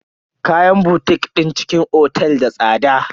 Kayan botik din cikin otel da tsada.